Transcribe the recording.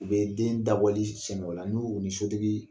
U bɛ den dabɔli la n'u ni sotigi